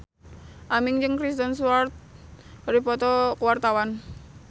Aming jeung Kristen Stewart keur dipoto ku wartawan